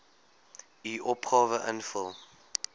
u opgawe invul